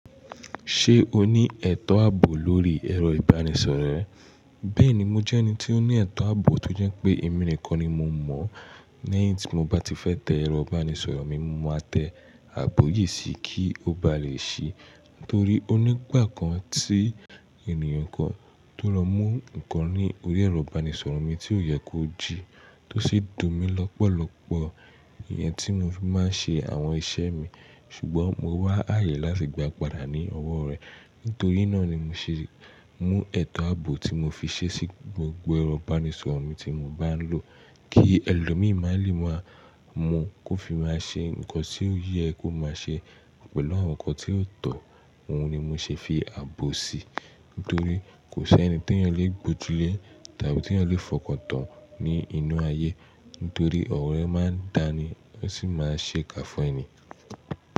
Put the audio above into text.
Ṣé o ní ẹ̀tọ́ àbò lórí ẹ̀rọ ìbánisọ̀rọ̀ rẹ? Bẹ́ẹ̀ni, mo jẹ́ ẹni tí ó ní ẹ̀tọ́ àbò tó jẹ́ pé èmi nìkan ni mo mọ̀. Ní èyí tí mo bá ti fẹ́ tẹ ẹ̀rọ ìbánisọ̀rọ̀ mi, mo máa tẹ àbò yìí sí i kí ó ba lè ṣí. Nítorí́ onígbà kan tí ènìyàn kan tó lọ mú nǹkan ní orí ẹ̀rọ ìbánisọ̀rọ̀ mi tí ó yẹ kó jí, tó sì dùn mí lọ́pọ̀lọpọ̀. Ìyẹn tí mo fi máa ń ṣe àwọn iṣẹ́ mi, ṣùgbọ́n mo wá ààyè láti gba àpadà ní ọwọ́ rẹ̀. Nítorí náà ni mo ṣe mú ẹ̀tọ́ àbò tí mo fi ṣe sí gbogbo ẹ̀rọ ìbánisọ̀rọ̀ mi tí mo bá ń lò, kí ẹlòmíràn lè máa mọ kó fi máa ṣe nǹkan tí ó yẹ kó máa ṣe pẹ̀lú àwọn nǹkan tí yóò tọ̀. Òhun ni mo ṣe fi àbò sí i, nítorí kò ṣe ẹni tí èèyàn le gbójúlé tàbí tí èèyàn le fọkàn tán ní inú ayé. Nítorí ọ̀rẹ́ máa ń dáni, ó sì máa ń ṣe kà fún ẹni.